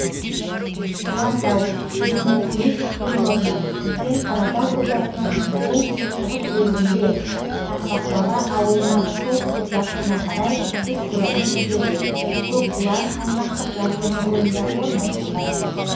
құлантау вермикулит кенорны үлкен қаратау жотасының оңтүстік шығыс бөлігінде шақпақбаба ауылынан солтүстік батысына карай үш километр жерде көкбұлаң аймақтық жарылымы бойында орналасқан